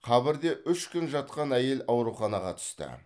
қабірде үш күн жатқан әйел ауруханаға түсті